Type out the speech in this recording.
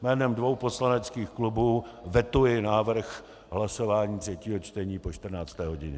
Jménem dvou poslaneckých klubů vetuji návrh hlasování třetího čtení po 14. hodině.